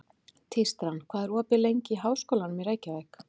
Tístran, hvað er opið lengi í Háskólanum í Reykjavík?